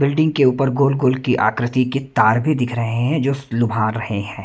Building के ऊपर गोल गोल की आकृति के तार भी दिख रहे हैं जो लुभा रहे हैं।